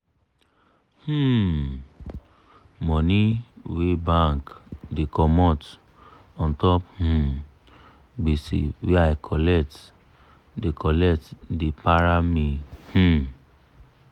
um money wey bank da comot untop um gbese wey i colet da colet da para me um